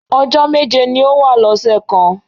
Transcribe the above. Ọjọ́ méje ni ó wà lọ́sẹ̀ kan.